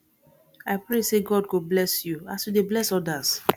i pray sey god go bless you as you dey bless odas